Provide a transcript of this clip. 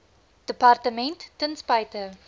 departement ten spyte